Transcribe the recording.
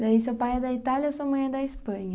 Daí seu pai é da Itália e sua mãe é da Espanha.